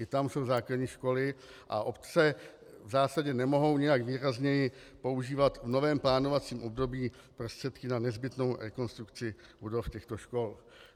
I tam jsou základní školy a obce v zásadě nemohou nijak výrazněji používat v novém plánovacím období prostředky na nezbytnou rekonstrukci budov těchto škol.